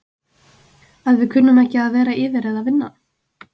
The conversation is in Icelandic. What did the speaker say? Að við kunnum ekki að vera yfir eða vinna?